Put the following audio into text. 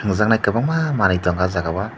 tongjaknai kobangma manui tongo o jaga o.